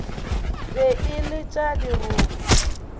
be e le tša dirope